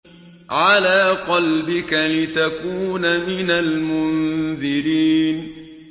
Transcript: عَلَىٰ قَلْبِكَ لِتَكُونَ مِنَ الْمُنذِرِينَ